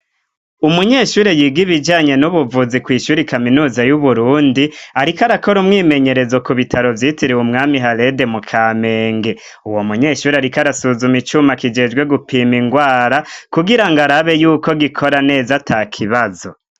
Umunyeshure yiga ib ijanye n'ubuvuzi kw'ishuri kaminuza y'uburundi ariko arakora umwimenyerezo ku bitaro vyitiriwe umwami halede mu kamenge uwo munyeshuri ariko arasuzuma icyuma kigejwe gupima ingwara kugira ngo arabe yuko gikora neza ta kibazo.